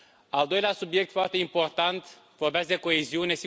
Al doilea subiect foarte important vorbesc de coeziune.